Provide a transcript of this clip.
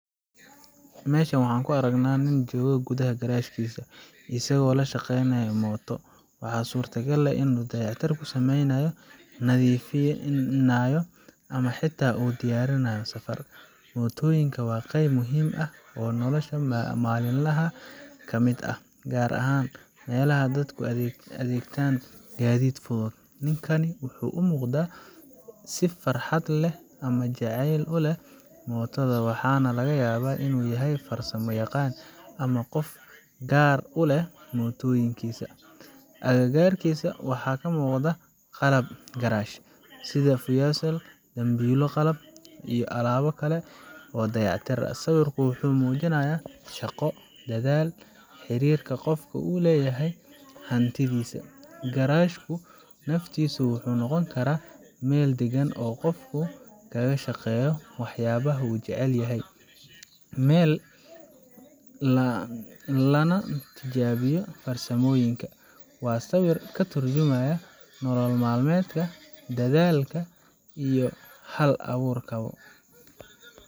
meshan waxaan ku aragnaa nin jooga gudaha garaashkiisa, isagoo la shaqaynaya mooto. Waxaa suuragal ah inuu dayactir ku sameynayo, nadiifinayo, ama xitaa uu u diyaarinayo safar. Mootooyinku waa qayb muhiim ah oo nolosha maalinlaha ah ka mid ah, gaar ahaan meelaha dadku u adeegtaan gaadiid fudud. Ninkani wuxuu u muuqdaa mid si farxad u leh ama jacayl u leh mootada, waxaana laga yaabaa inuu yahay farsamo yaqaan ama qof gaar u leh mootooyinkiisa. Agagaarkiisa waxaa ka muuqda qalab garaash, sida furayaal, dambiilo qalab, iyo alaabo kale oo dayactir ah. Sawirku wuxuu muujinayaa shaqo, dadaal, xiriirka qofka uu la leeyahay hantidiisa. Garaashka naftiisu wuxuu noqon karaa meel degan oo uu qofku kaga shaqeeyo waxyaabaha uu jecel yahay, meel lagu fikiro, lana tijaabiyo farsamooyinka. Waa sawir ka turjumaya nolol maalmeedka, dadaalka iyo hal abuurka bo.